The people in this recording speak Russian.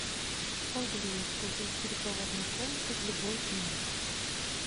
могу ли я использовать переговорную комнату в любое время